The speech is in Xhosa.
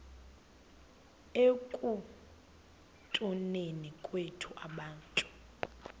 ekutuneni kwethu abantu